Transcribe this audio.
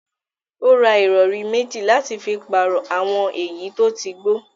Ó ra ìrọ̀rí mẹ́jì láti fi pàrọ̀ àwọn èyí tí ó ti gbó